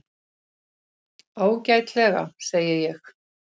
Ágætlega, segi ég.